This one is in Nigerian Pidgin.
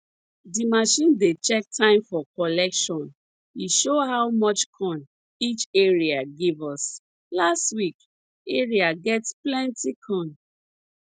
di machine dey check time for collection e show how much corn each area give us last week area get plenty corn